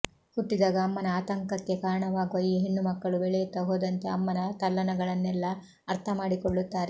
ಹುಟ್ಟಿದಾಗ ಅಮ್ಮನ ಆಂತಂಕಕ್ಕೆ ಕಾರಣವಾಗುವ ಈ ಹೆಣ್ಣುಮಕ್ಕಳು ಬೆಳೆಯುತ್ತ ಹೋದಂತೆ ಅಮ್ಮನ ತಲ್ಲಣಗಳನ್ನೆಲ್ಲ ಅರ್ಥಮಾಡಿಕೊಳ್ಳುತ್ತಾರೆ